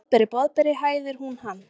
Boðberi, Boðberi, hæðir hún hann.